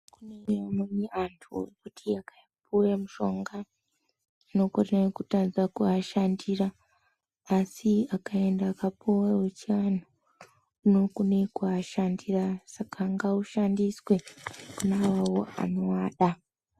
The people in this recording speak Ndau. Kune amweni andu wekuti akapiwe mushonga unokone kutanga kuwashandira asi akawanda akapuwa wechivanhu unokone kuwashandira saka ngawushandiswe kune awawo anowada.